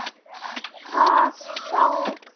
Það er sá kvíði.